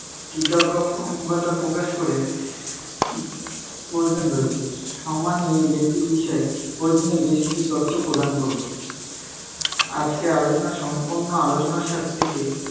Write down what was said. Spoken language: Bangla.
কৃতজ্ঞ~ উম কৃতজ্ঞতা প্রকাশ কোরে, প~প্রয়োজন রয়েছে। সম্মানী এই ব্যক্তির বিষয়ে প্রয়োজনীয় বেশ কিছু তথ্য প্রদান করবো। আজকের আলোচনার সম্পূর্ণ আলোচনার